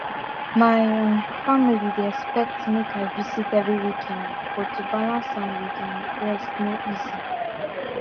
my um family dey expect make i visit every weekend but to balance am with um rest no easy